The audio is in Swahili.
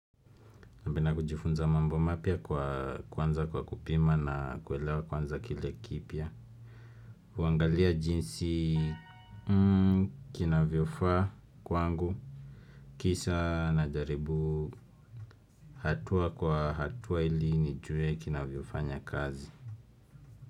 Napenda kujifunza mambo mapya kwa kuanza kwa kupima na kuelewa kwanza kile kipya. Huangalia jinsi kinavyofaa kwangu kisha najaribu hatua kwa hatua ili nijue kinavyofanya kazi.